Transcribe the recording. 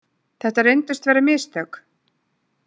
Þetta reyndust vera mistök.